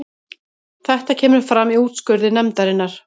Þetta kemur fram í úrskurði nefndarinnar